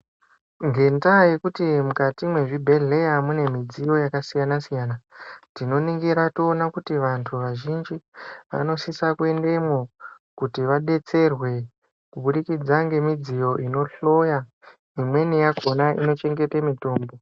Ngendaya yekuti mukuti mwezvibhehleya mune midziyo yakasiyana siyana tinoningira toona kuti vantu vazhinji vanosisa kuendemwo kuti vadetserwe kubudikidza ngemidziyo zvinohloya imweni yakona inochengete mitombo.